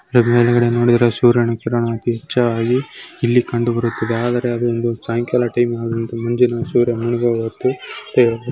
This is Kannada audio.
ಮೇಲ್ಗಡೆ ನೋಡಿದ್ರೆ ಸೂರ್ಯನ ಕಿರಣ ಇಲ್ಲಿ ಕಂಡು ಬರುತ್ತದೆ ಆದರೆ ಅದು ಒಂದು ಸಾಯಂಕಾಲ ಟೈಮ್ --